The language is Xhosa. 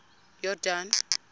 yordane